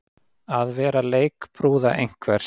Að vera leikbrúða einhvers